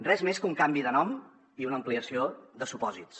res més que un canvi de nom i una ampliació de supòsits